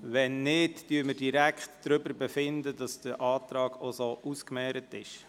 – Wenn nicht, kommen wir direkt zur Ausmehrung.